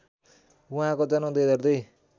उहाँको जन्म २००२